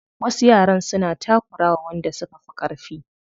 Wasu yaran suna takura wa wanda suka fi ƙarfi.